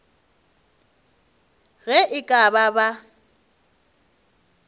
ge e ka ba ba